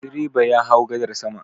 Direba ya hau gadar sama.